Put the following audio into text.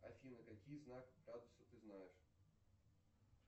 афина какие знаки градуса ты знаешь